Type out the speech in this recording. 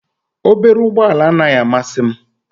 Obere ụgbọ ala anaghị amasị m